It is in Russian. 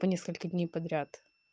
по несколько дней подряд